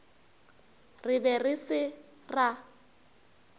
re be re se ra